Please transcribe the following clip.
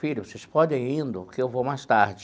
Filho, vocês pode indo, que eu vou mais tarde.